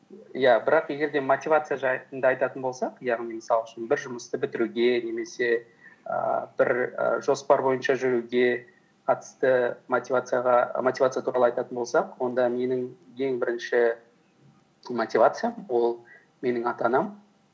иә бірақ егер де мотивация жайында айтатын болсақ яғни мысал үшін бір жұмысты бітіруге немесе ііі бір і жоспар бойынша жүруге қатысты мотивация туралы айтатын болсақ онда менің ең бірінші мотивациям ол менің ата анам